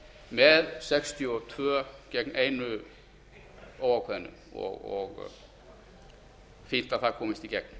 með sextíu og tvö ein óákveðnu og er fínt að það komist í